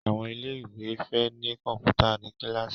Àwọn ilé ìwé fè ní Kọ̀ǹpútà ní kilasi